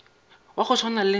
wa go swana le nna